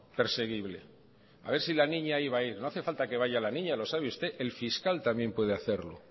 perseguible a ver si la niña iba a ir no hace falta que vaya la niña lo sabe usted el fiscal también puede hacerlo